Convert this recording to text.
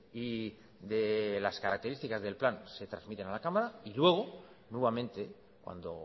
y de las características del plan se transmitan a la cámara y luego nuevamente cuando